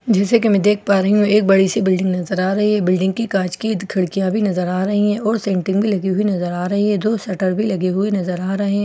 जैसा कि मैं देख पा रही हूँ एक बड़ी सी बिल्डिंग नजर आ रही है बिल्डिंग की कांच की खिड़कियाँ भी नजर आ रही हैं और सेंटरिंग भी लगी हुई नजर आ रही है दो शटर भी लगे हुए नजर आ रहे --